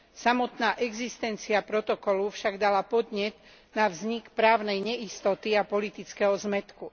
Samotná existencia protokolu však dala podnet na vznik právnej neistoty a politického zmätku.